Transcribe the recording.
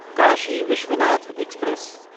Kashi Vishwanath express